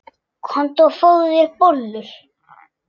Komdu og fáðu þér bollur.